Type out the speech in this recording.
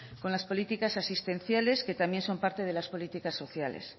con las políticas asistenciales que también son parte de las políticas sociales